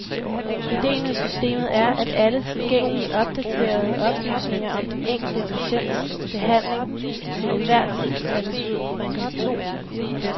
Idéen med systemet er, at alle tilgængelige, opdaterede oplysninger om den enkelte patients behandling til enhver tid kan printes ud fra en computer.